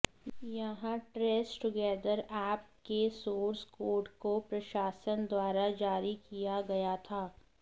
यहां Trace Together app के source code को प्रशासन द्वारा जारी किया गया था